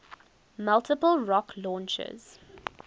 multiple rocket launchers